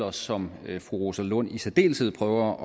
og som fru rosa lund i særdeleshed prøver